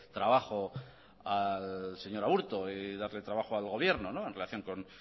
trabajo al señor aburto y darle trabajo al gobierno en relación con